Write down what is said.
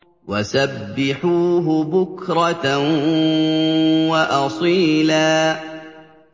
وَسَبِّحُوهُ بُكْرَةً وَأَصِيلًا